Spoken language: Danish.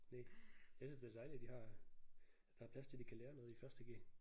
Næh jeg synes det er dejligt de har at der er plads til de kan lære noget i første g